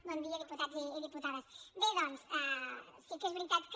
bon dia diputats i diputades bé doncs sí que és veritat que